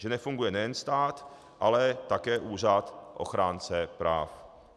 Že nefunguje nejen stát, ale také Úřad ochránce práv.